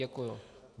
Děkuji.